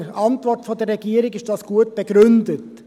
In der Antwort der Regierung ist das gut begründet.